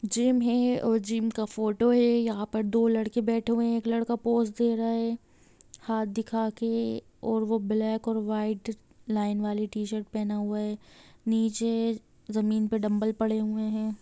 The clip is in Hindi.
जिम है और जिम का फोटो है यहाँ पर दो लड़के बैठे हुए है एक लड़का पोस दे रहा है हाथ दिखा के और वो ब्लैक और वाइट लाइन वाली टी-शर्ट पहना हुआ है नीचे जमीन पर डंबल पड़े हुए है।